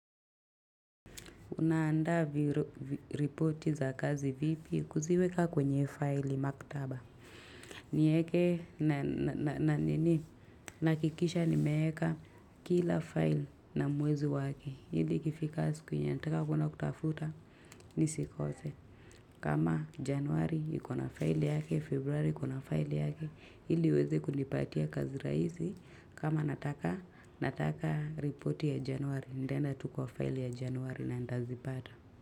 Unaandaa report za kazi vipi kuziweka kwenye file maktaba. Niweke na nini nahakikisha nimeweka kila file na mwezi wake. Hili ikifika siku yenye nataka kwnda kutafuta nisikose. Kama januari ikona file yake, februari ikona file yake. Hili uweze kujipatia kazi rahisi. Kama nataka report ya januari. Nitaenda tuu kwa file ya januari na nitazipata.